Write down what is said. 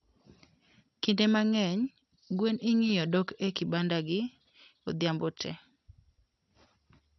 kinde mangeny, gwen ingiyo dok e kibandagi odhiambo tee